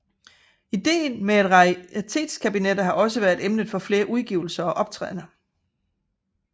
Ideen med raritetskabinetter har også været emnet for flere udgivelser og optrædener